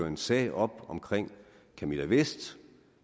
en sag op omkring camilla vest